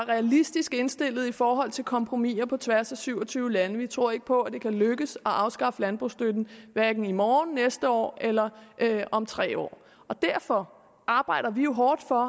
realistisk indstillet i forhold til kompromiser på tværs af syv og tyve lande vi tror ikke på at det kan lykkes at afskaffe landbrugsstøtten hverken i morgen det næste år eller om tre år derfor arbejder vi hårdt for